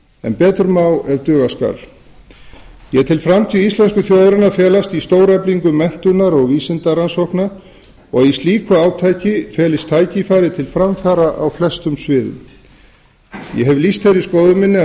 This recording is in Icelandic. en betur má ef duga skal ég tel framtíð íslensku þjóðarinnar felast í stóreflingu menntunar og vísindarannsókna og að í slíku átaki felist tækifæri til framfara á flestum sviðum ég hef lýst þeirri skoðun minni að